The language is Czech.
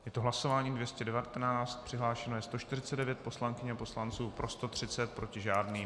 Je to hlasování 219, přihlášeno je 149 poslankyň a poslanců, pro 130, proti žádný.